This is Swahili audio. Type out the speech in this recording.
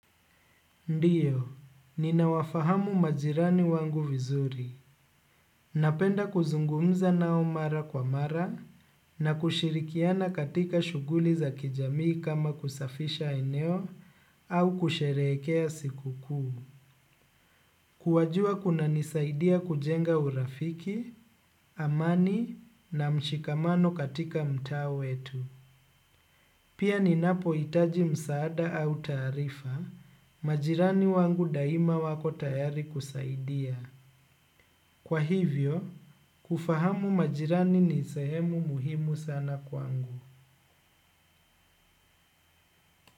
Ndiyo, ninawafahamu majirani wangu vizuri. Napenda kuzungumza nao mara kwa mara na kushirikiana katika shughuli za kijamii kama kusafisha eneo au kusherehekea siku kuu kuwajua kunanisaidia kujenga urafiki amani na mshikamano katika mtaa wetu. Pia ninapo itaji msaada au tarifa, majirani wangu daima wako tayari kusaidia. Kwa hivyo, kufahamu majirani ni sayemu muhimu sana kwangu.